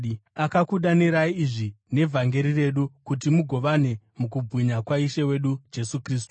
Akakudanirai izvi nevhangeri redu, kuti mugovane mukubwinya kwaIshe wedu Jesu Kristu.